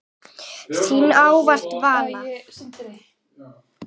Þín ávallt, Vala.